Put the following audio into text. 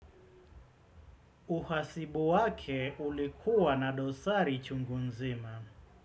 Uhasibu wake ulikuwa na dosari chungu nzima.